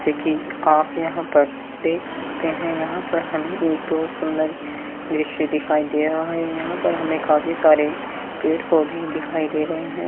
जैसे कि आप यहाँ पर देख सकते है यहाँ पर हमें एक बोहोत सुंदर द्रश्य दिखाई दे रहा है। यहाँ पर हमें काफी सारे पेड़-पौधे दिखाई दे रहे हैं।